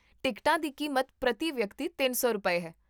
ਟਿਕਟਾਂ ਦੀ ਕੀਮਤ ਪ੍ਰਤੀ ਵਿਅਕਤੀ ਤਿੰਨ ਸੌ ਰੁਪਏ, ਹੈ